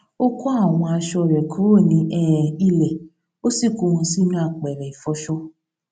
ó kó àwọn aṣọ rè kúrò ní um ilè ó sì kó wọn sínú apèrè ìfọṣọ